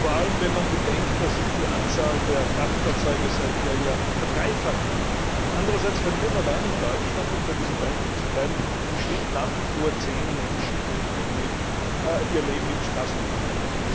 Vor allem, wenn man bedenkt, dass sich die Anzahl der Kraftfahrzeuge seither ja verdreifacht hat. Andererseits verlieren allein in Deutschland, um bei diesem Beispiel zu bleiben, im Schnitt nach wie vor zehn Menschen täglich ihr Leben im Straßenverkehr.